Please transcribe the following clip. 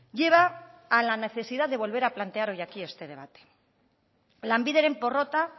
lleva a la necesidad de volver a plantear hoy aquí este debate lanbideren porrota